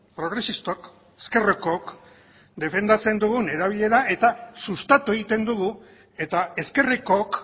progresistok ezkerrekok defendatzen dugun erabilera eta sustatu egiten dugu eta ezkerrekook